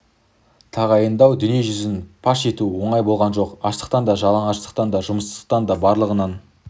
тағайындау дүние жүзіне паш ету оңай болған жоқ аштықтан да жалаңаштықтан да жұмыссыздықтан да барлығынан